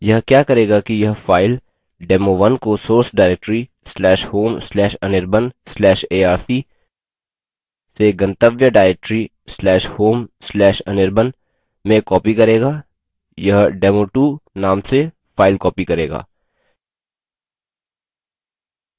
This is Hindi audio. यह क्या करेगा कि यह फाइल demo1 को source directory/home/anirban/arc/से गंतव्य directory/home/anirban में copy करेगा यह demo2 name से फाइल copy करेगा